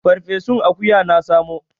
Farfesun akuya na samo.